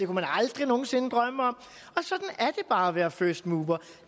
man aldrig nogen sinde drømme om og bare at være first mover